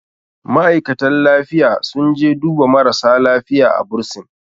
ma'aikatan lifiya sun je duba marasa lafiya a bursin